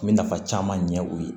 N bɛ nafa caman ɲɛ o ye